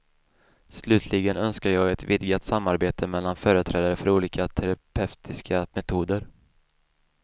Slutligen önskar jag ett vidgat samarbete mellan företrädare för olika terapeutiska metoder.